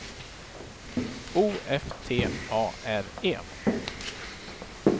O F T A R E